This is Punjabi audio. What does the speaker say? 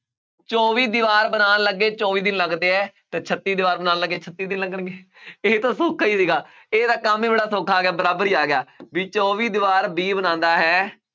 ਚੌਵੀ ਦੀਵਾਰ ਬਣਾਉਣ ਲੱਗੇ ਚੌਵੀ ਦਿਨ ਲੱਗਦੇ ਹੈ ਤੇ ਛੱਤੀ ਦੀਵਾਰ ਬਣਾਉਣ ਲੱਗੇ ਛੱਤੀ ਦਿਨ ਲੱਗਣਗੇ ਇਹ ਤਾਂ ਸੌਖਾ ਹੀ ਸੀਗਾ, ਇਹ ਤਾਂ ਕੰਮ ਹੀ ਬੜਾ ਸੌਖਾ ਆ ਗਿਆ ਬਰਾਬਰ ਹੀ ਆ ਗਿਆ ਵੀ ਚੌਵੀ ਦੀਵਾਰ b ਬਣਾਉਂਦਾ ਹੈ